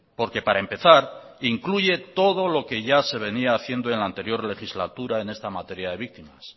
porque para empezar incluye todo lo que ya se venía haciendo en la anterior legislatura en esta materia de víctimas